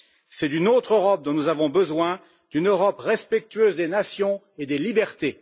C'est d'une autre Europe dont nous avons besoin une Europe respectueuse des nations et des libertés.